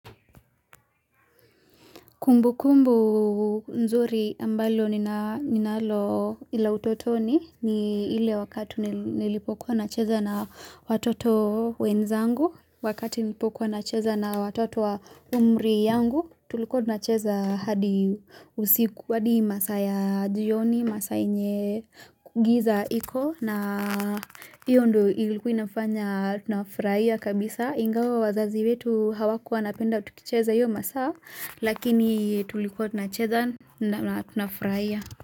Kumbu kumbu nzuri ambalo ninalo ila utotoni ni ile wakati nilipokuwa na cheza na watoto wenzangu. Wakati nilipokuwa na cheza na watoto wa umri yangu, tulikuwa na cheza hadi masaa ya jioni, masaa yenye giza hiko. Na hiyo ndo ilikuwa inafanya tunafurahia kabisa Ingawa wazazi wetu hawakuwa napenda utukicheza hiyo masaa Lakini tulikuwa tunacheza na tunafurahia.